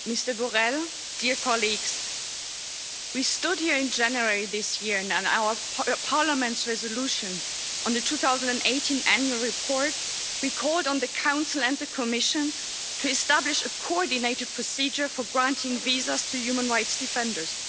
Madam President, we stood here in January this year, and in Parliament's resolution on the 2018 annual report we called on the Council and the Commission to establish a coordinated procedure for granting visas to human rights defenders.